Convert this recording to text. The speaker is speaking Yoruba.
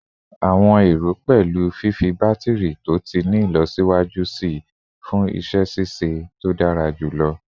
Awọn ero pẹlu fifi batiri to ti ni ilọsiwaju sii fun iṣẹ ṣiṣe to dara julọ